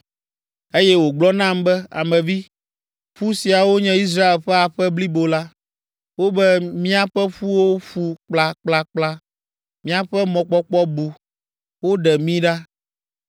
Eye wògblɔ nam be, “Ame vi, ƒu siawo nye Israel ƒe aƒe blibo la. Wobe, ‘Míaƒe ƒuwo ƒu kplakplakpla; míaƒe mɔkpɔkpɔ bu; woɖe mí ɖa.’